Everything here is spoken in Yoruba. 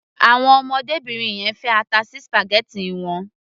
Àwọn ọmọdébìnrin yẹn fi ata sí spaghetti wọn.